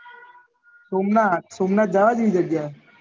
સોમનાથ સોમનાથ જવા જેવી જગ્યા એ